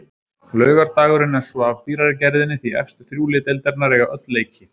Laugardagurinn er svo af dýrari gerðinni því efstu þrjú lið deildarinnar eiga öll leiki.